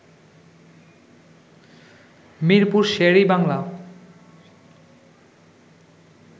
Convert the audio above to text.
Mirpur Sher-e-Bangla